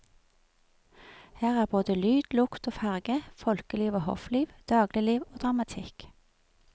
Her er både lyd, lukt og farge, folkeliv og hoffliv, dagligliv og dramatikk.